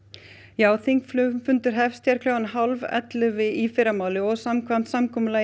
já þingfundur hefst klukkan hálf ellefu í fyrramálið samkvæmt samkomulaginu